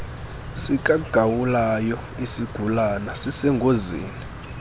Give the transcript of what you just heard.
sikagawulayo isigulana sisengozini